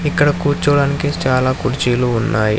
ఇక్కడ కూర్చోడానికి చాలా కుర్చీలు ఉన్నాయ్.